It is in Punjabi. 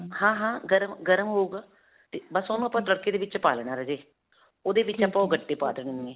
ਹਾਂ. ਹਾਂ. ਗਰਮ, ਗਰਮ ਹੋਉਗਾ. ਤੇ ਬਸ ਓਹਨੂੰ ਆਪਾਂ ਤੜਕੇ ਦੇ ਵਿੱਚ ਪਾ ਲੈਣਾ ਰਾਜੇ. ਓਹਦੇ ਵਿੱਚ ਆਪਾਂ ਗੱਟੇ ਪਾ ਦੇਣੇ.